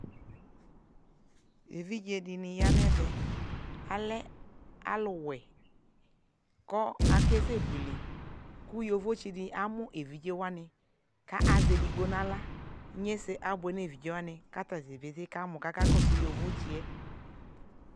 ɛvidzɛ dini yanʋ ɛvɛ, alɛ alʋ wɛ kʋ akɛsɛ bʋɛlɛ, kʋ yɔvɔ di amʋ ɛvidzɛ wani kʋazɛ ɛdigbɔ nʋala, inyɛsɛ abʋɛ nʋ ɛvidzɛ wani kʋ atagya pɛtɛɛ kamɔ kʋ aka kɔsʋ yɔzʋ tsiɛ